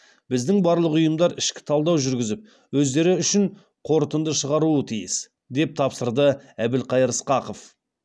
біздің барлық ұйымдар ішкі талдау жүргізіп өздері үшін қорытынды шығаруы тиіс деп тапсырды әбілқайыр сқақов